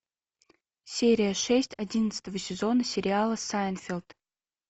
серия шесть одиннадцатого сезона сериала сайнфелд